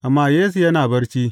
Amma Yesu yana barci.